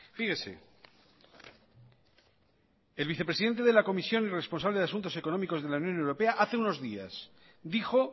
fíjese el vicepresidente de la comisión y responsable de asuntos económicos de la unión europea hace unos días dijo